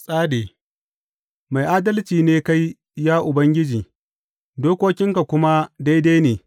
Tsade Mai adalci ne kai, ya Ubangiji, dokokinka kuma daidai ne.